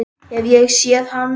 Hef ég séð hann?